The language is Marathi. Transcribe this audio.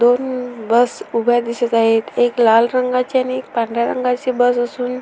दोन बस उभ्या दिसत आहेत एक लाल रंगाची आणि एक पांढऱ्या रंगाची बस असून --